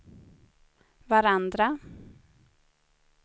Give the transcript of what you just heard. varandra